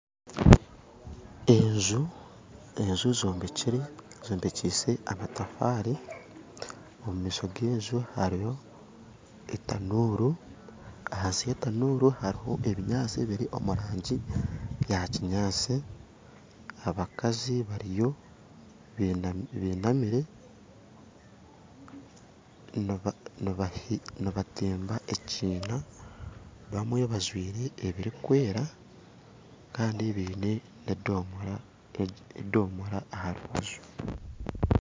Enju enju zombekire zombikyise amatafaare omu maisho ga enju hariho etanuuru hansi ya tanuuru hariho ebinyaatsi ebiri omu rangi ya kinyaatsi abakazi bariyo bainamire nibatimba ekiina bamwe bajwaire ebirikwera kandi baine na edomora ha rubaju